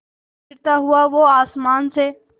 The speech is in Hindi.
गिरता हुआ वो आसमां से